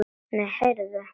Nei, heyrðu.